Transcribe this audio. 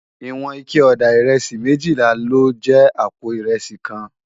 Iwòn iké òdá irèsí méjìlá ló jè àpó irèsí kán